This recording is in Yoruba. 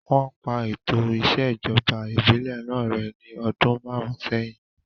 Wọ́n pa ètò ìṣèjọba ìbílẹ̀ náà rẹ́ ní ọdún márùn sẹ́yìn